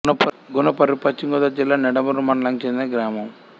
గునపర్రు పశ్చిమ గోదావరి జిల్లా నిడమర్రు మండలానికి చెందిన గ్రామం